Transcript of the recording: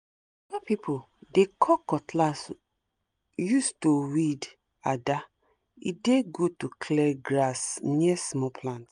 people dey call cutlass use to weed ada e dey good to clear grass near small plants